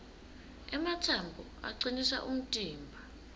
ematsambo acinisa umtimba